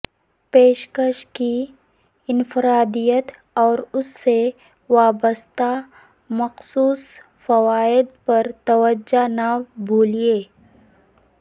پیشکش کی انفرادیت اور اس سے وابستہ مخصوص فوائد پر توجہ نہ بھولیں